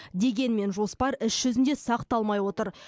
дегенмен жоспар іс жүзінде сақталмай отыр